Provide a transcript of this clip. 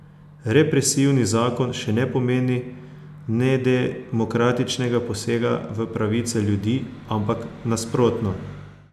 Represivni zakon še ne pomeni nedemokratičnega posega v pravice ljudi, ampak nasprotno.